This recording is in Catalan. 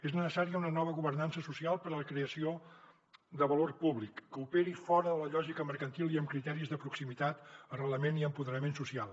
és necessària una nova governança social per a la creació de valor públic que operi fora de la lògica mercantil i amb criteris de proximitat arrelament i empoderament social